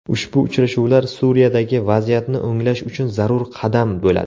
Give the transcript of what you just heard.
Ushbu uchrashuvlar Suriyadagi vaziyatni o‘nglash uchun zarur qadam bo‘ladi.